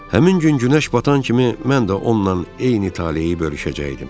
Həmin gün günəş batan kimi mən də onunla eyni taleyi bölüşəcəkdim.